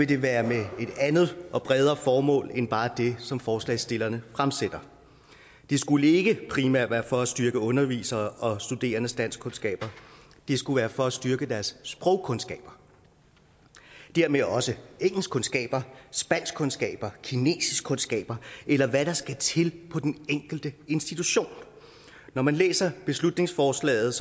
det være med et andet og bredere formål end bare det som forslagsstillerne fremsætter det skulle ikke primært være for at styrke underviseres og studerendes danskkundskaber det skulle være for at styrke deres sprogkundskaber og dermed også engelskkundskaber spanskkundskaber kinesiskkundskaber eller hvad der skal til på den enkelte institution når man læser beslutningsforslaget